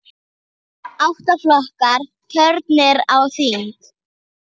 Átta flokkar kjörnir á þing.